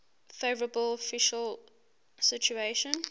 favourable fiscal situation